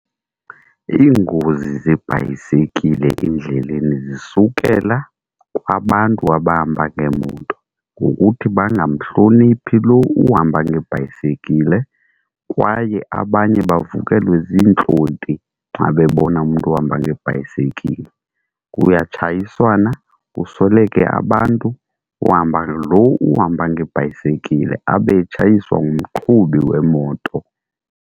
Iingozi zebhayisekile endleleni zisukela kwabantu abahamba ngeemoto ngokuthi bangamhloniphi lo uhamba ngebhayisekile, kwaye abanye bavukelwe ziintlonti xa bebona umntu ohamba ngebhayisekile. Kuyatshayiswana kusweleke abantu uhambe, lo uhamba ngebhayisekile abe etshayiswa ngumqhubi wemoto.